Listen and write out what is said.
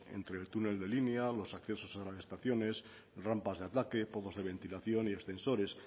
entre el túnel de línea los accesos a las estaciones rampas de pozos de ventilación y ascensores